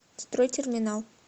стройтерминал